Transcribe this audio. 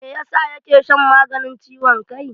Me yasa ya ke shan maganin ciwon kai?